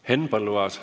Henn Põlluaas.